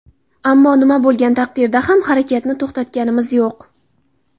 Ammo nima bo‘lgan taqdirda ham, harakatni to‘xtatganimiz yo‘q.